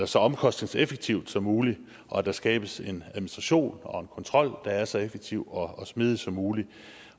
så omkostningseffektivt som muligt og at der skabes en administration og en kontrol der er så effektiv og og smidig som muligt